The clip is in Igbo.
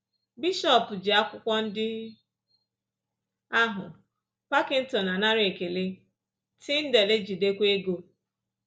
“Bishọp ji akwụkwọ ndị ahụ, Packington anara ekele, Tyndale ejidekwa ego.”